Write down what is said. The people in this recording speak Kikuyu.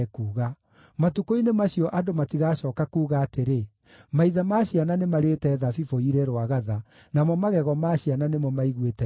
“Matukũ-inĩ macio andũ matigacooka kuuga atĩrĩ, “ ‘Maithe ma ciana nĩmarĩĩte thabibũ irĩ rwagatha, namo magego ma ciana nĩmo maiguĩte thiithi.’